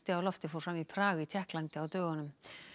á lofti fór fram í Prag í Tékklandi á dögunum